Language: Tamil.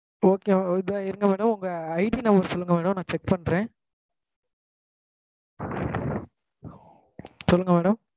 okay okay இருங்க madam உங்க ID number சொல்லுங்க madam நான் check பண்றேன் சொல்லுங்க madam